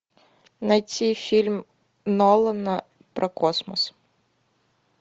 найти фильм нолана про космос